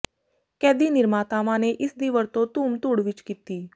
ਕੈਦੀ ਨਿਰਮਾਤਾਵਾਂ ਨੇ ਇਸ ਦੀ ਵਰਤੋਂ ਧੂਮ ਧੂੜ ਵਿੱਚ ਕੀਤੀ